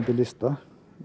lista